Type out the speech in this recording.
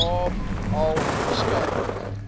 kaap al verskeie